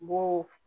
Bo